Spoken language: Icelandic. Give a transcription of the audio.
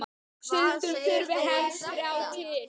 Stundum þurfi helst þrjá til.